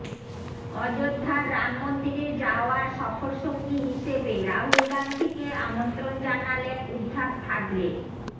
অযোধ্যার রাম মন্দিরে যাওয়ার সফরসঙ্গী হিসেবে রাহুল গান্ধীকে আমন্ত্রণ জানালেন উদ্ধাব ঠাকরে